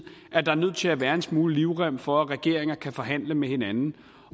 er nødt til at være en smule livrem for at regeringer kan forhandle med hinanden